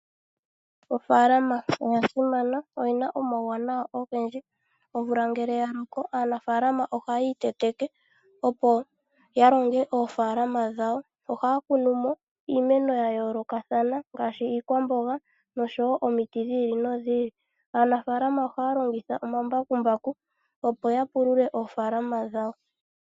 Ofaalama oya simana noyina omauwanawa ogendji . Omvula ngele yaloko aanafaalama ohaya iteteke opo yalonge oofaalama dhawo . Ohaya kunumo iimeno yayoolokathana ngaashi iikwamboga noshowoo omiti dhiili nodhili. Aanafaalama ohaya longitha omambakumbaku opo yapulule oofaalama dhawo.